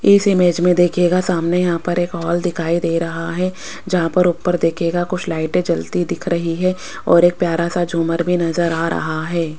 इस इमेज में देखिएगा सामने यहां पर एक हॉल दिखाई दे रहा है जहां पर ऊपर देखिएगा कुछ लाइटें जलती दिख रही है और एक प्यारा सा झूमर भी नजर आ रहा है।